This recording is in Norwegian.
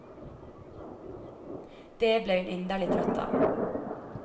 Det ble hun inderlig trøtt av.